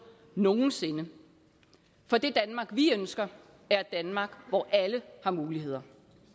nogensinde for det danmark vi ønsker er et danmark hvor alle har muligheder